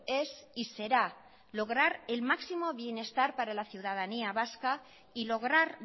es y será lograr el máximo bienestar para la ciudadanía vasca y lograr